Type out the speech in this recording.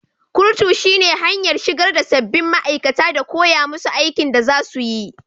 kurutu shine hanyar shigarda sabbin ma aikata da koyamusu aikin da zasuyi.